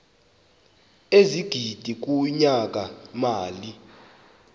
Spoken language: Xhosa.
ezigidi kunyaka mali